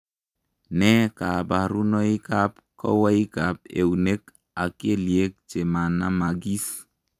Nee kabarunoikab kowoikab eunek ak kelyek che manamagis?